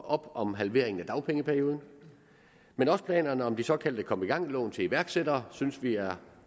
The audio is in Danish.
op om halveringen af dagpengeperioden men også planerne om de såkaldte kom i gang lån til iværksættere synes vi er